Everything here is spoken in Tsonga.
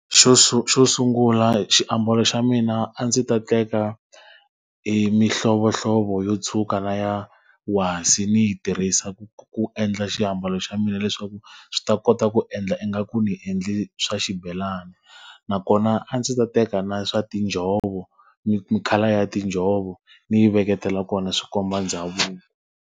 Xo xo sungula xiambalo xa mina a ndzi ta teka emihlovohlovo yo tshuka na ya wasi ni yi tirhisa ku ku endla xiambalo xa mina leswaku swi ta kota ku endla ingaku ndzi endle swa xibelani. Nakona a ndzi ta teka na swa tinjhovo ni colour ya tinjhovo, ndzi yi veketela kona swi komba ndhavuko.